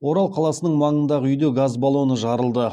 орал қаласының маңындағы үйде газ баллоны жарылды